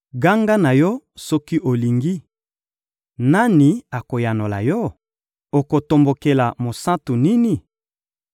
Ganga na yo, soki olingi! Nani akoyanola yo? Okotombokela mosantu nini?